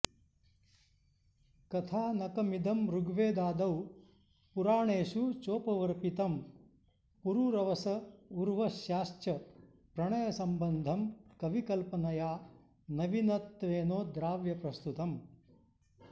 कथानकमिदं ऋग्वेदादौ पुराणेषु चोपवर्पितं पुरूरवस उर्वश्याश्च प्रणयसम्बन्धं कविकल्पनया नवीनत्वेनोद्राव्य प्रस्तुतम्